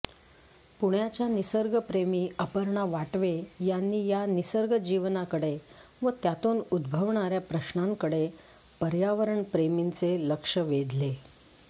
पुण्याच्या निसर्गप्रेमी अपर्णा वाटवे यांनी या निसर्गजीवनाकडे व त्यातून उद्भवणाऱ्या प्रश्नांकडे पर्यावरणप्रेमींचे लक्ष वेधले